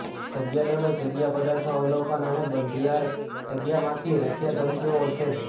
જગ્યા દળો જગ્યા પદાર્થો અવલોકન અને બંધિયાર જગ્યા માંથી રશિયા ધમકીઓ ઓળખે છે